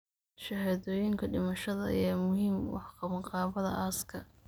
Shahaadooyinka dhimashada ayaa muhiim u ah qabanqaabada aaska.